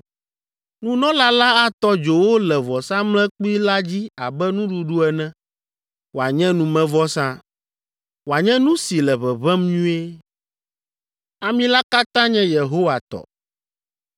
Nunɔla la atɔ dzo wo le vɔsamlekpui la dzi abe nuɖuɖu ene, wòanye numevɔsa, wòanye nu si le ʋeʋẽm nyuie. Ami la katã nye Yehowa tɔ.